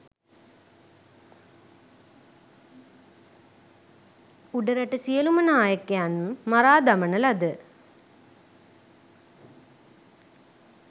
උඩරට සියලූම නායකයන් මරා දමන ලද